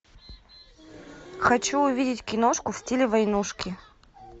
хочу увидеть киношку в стиле войнушки